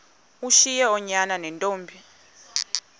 ushiye oonyana neentombi